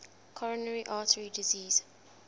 coronary artery disease